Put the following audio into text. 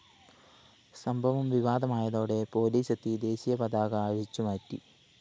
സംഭവം വിവാദമായതോടെ പോലീസെത്തി ദേശീയ പതാക അഴിച്ചുമാറ്റി